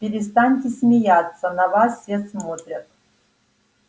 перестаньте смеяться на вас все смотрят